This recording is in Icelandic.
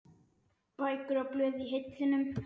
Bækur og blöð í hillum.